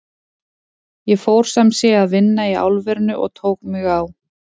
Ég fór sem sé að vinna í álverinu og tók mig á.